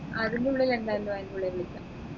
അതിനുള്ളിൽ എന്തായാലും അയ്ന്റുള്ളി വിളിക്കാം